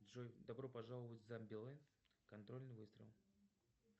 джой добро пожаловать в зомбилэнд контрольный выстрел